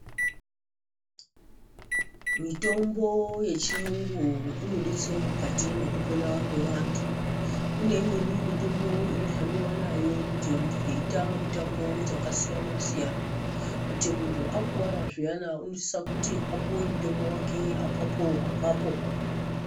Mitombo yechiyungu inodetsera mukati mwekupona kwevantu kuneimweni mitombo inohambiwa nayo kuti vanhu veita mitambo dzakasiyanasiyana kuti muntu akuwara zviyana unosise kuti apuwe mutombo wake apapoapapo.